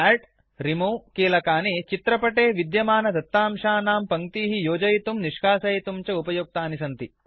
add Remove कीलकानि चित्रपटे विद्यमानदत्तांशानां पङ्क्तीः योजयितुं निष्कासयितुं च उपयुक्तानि सन्ति